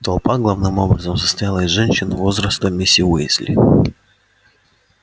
толпа главным образом состояла из женщин возраста миси уизли